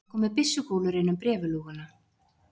Það komu byssukúlur inn um bréfalúguna.